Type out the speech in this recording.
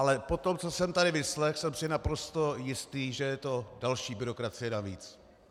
Ale po tom, co jsem tady vyslechl, jsem si naprosto jistý, že je to další byrokracie navíc.